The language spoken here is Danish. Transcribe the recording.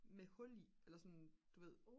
med hul i eller sådan du ved